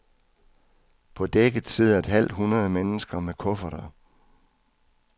På dækket sidder et halvt hundrede mennesker med kufferter.